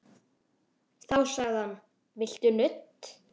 Þá sagði hann: Viltu nudd?